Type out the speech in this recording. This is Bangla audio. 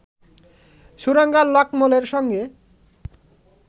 সুরাঙ্গা লাকমলের সঙ্গে